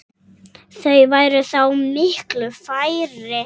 Þau væru þá miklu færri.